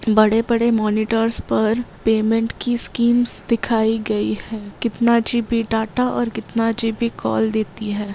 बड़े-बड़े मॉनिटर्स पर पेमेंट कि स्कीम्स दिखाई गई है कितना जी.बी. डाटा और कितना जी.बी. कॉल देती है।